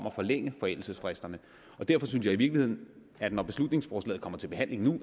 at forlænge forældelsesfristerne derfor synes jeg i virkeligheden at når beslutningsforslaget kommer til behandling nu